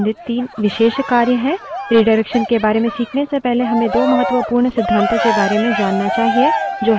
redirection के बारे में खीखने से पहले हमें दो महत्वपूर्ण सिद्धातों के बारे में जानना चाहिए जो है stream और file descriptor विवरणक